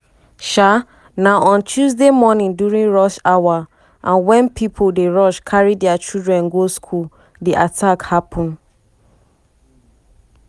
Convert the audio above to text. um na on tuesday morning during rush hour and wen pipo dey rush carry dia children go school di attack happun.